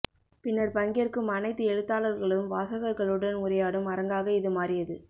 பின்னர் பங்கேற்கும் அனைத்து எழுத்தாளர்களும் வாசகர்களுடன் உரையாடும் அரங்காக இது மாறியது